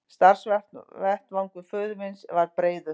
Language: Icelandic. Starfsvettvangur föður míns var breiður.